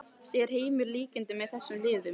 Sér Heimir líkindi með þessum liðum?